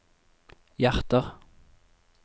hjerter